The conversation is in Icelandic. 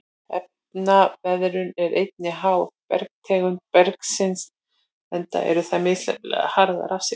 Efnaveðrun er einnig háð bergtegundum berggrunnsins enda eru þær misjafnlega harðar af sér.